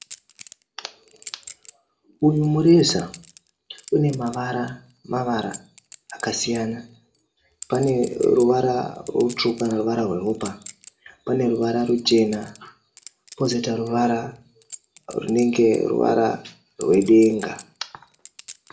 Uyu mureza unemavara-mavara akasiyana. Pane ruvara rusvuku neruvara rweropa, pane ruvara ruchena pozoita ruvara runenge ruvara rwedenga.